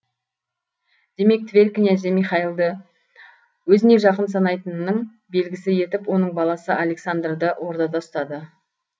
демек тверь князі михаилды өзіне жақын санайтынның белгісі етіп оның баласы александрды ордада ұстады